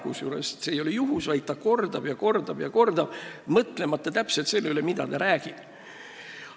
Kusjuures ta ei tee seda juhuslikult, vaid ta kordab ja kordab ja kordab, mõtlemata täpselt sellele, mida ta räägib.